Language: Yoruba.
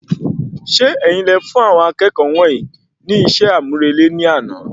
Ṣe ẹ̀yin ní ẹ fún àwọn akẹ́kọ̀ọ́ wọnyii ní iṣẹ́ amurele ní àna